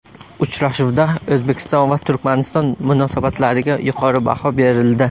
Uchrashuvda O‘zbekiston va Turkmaniston munosabatlariga yuqori baho berildi.